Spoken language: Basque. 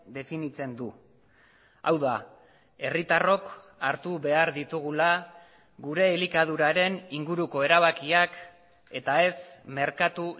definitzen du hau da herritarrok hartu behar ditugula gure elikaduraren inguruko erabakiak eta ez merkatu